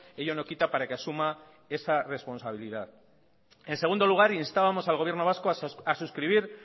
ello no quita para que asuma esa responsabilidad en segundo lugar instábamos al gobierno vasco a suscribir